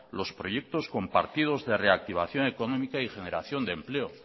los proyectos compartidos de reactivación económica y generación de empleo